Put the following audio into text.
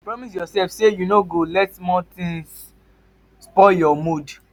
promise yourself say you no go let small things spoil your mood.